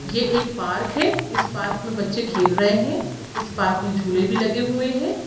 ये एक पार्क है इस पार्क मे बच्चे खेल रहे है इस पार्क मे झूले भी लगे हुए है।